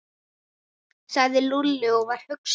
sagði Lúlli og var hugsi.